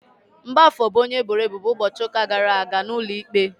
Mgbafor bụ onye eboro ebubo ụbọchị ụka gara aga n'ụlọikpe.